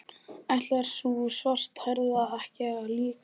Ætlar sú svarthærða ekki líka að koma?